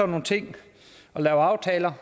nogle ting og laver aftaler